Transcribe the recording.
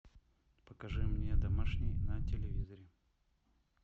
покажи мне домашний на телевизоре